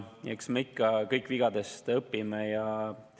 Eks me kõik ikka õpime vigadest ja [2024.